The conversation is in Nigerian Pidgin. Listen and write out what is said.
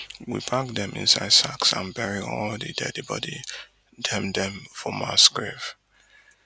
we pack dem inside sacks and bury all di deadi body dem dem for mass grave